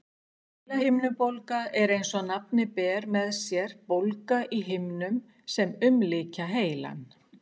Heilahimnubólga er eins og nafnið ber með sér bólga í himnum sem umlykja heilann.